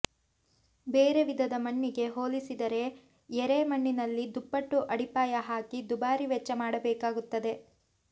ಬೇರೆ ವಿಧದ ಮಣ್ಣಿಗೆ ಹೋಲಿಸಿದರೆ ಎರೆ ಮಣ್ಣಿನಲ್ಲಿ ದುಪ್ಪಟ್ಟು ಅಡಿಪಾಯ ಹಾಕಿ ದುಬಾರಿ ವೆಚ್ಚ ಮಾಡಬೇಕಾಗುತ್ತದೆ